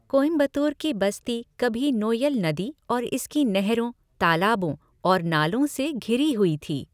कोयंबटूर की बस्ती कभी नोय्यल नदी और इसकी नहरों, तालाबों और नालों से घिरी हुई थी।